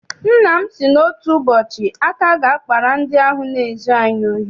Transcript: Nna m sị na otu ụbọchị aka ga- akpara ndị ahụ na-ezu anyị ohi.